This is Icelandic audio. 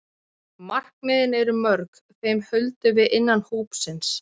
Markmiðin eru mörg, þeim höldum við innan hópsins.